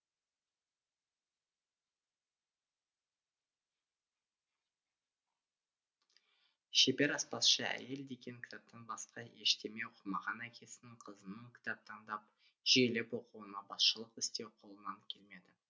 шебер аспазшы әйел деген кітаптан басқа ештеме оқымаған әкесінің қызының кітап таңдап жүйелеп оқуына басшылық істеу қолынан келмеді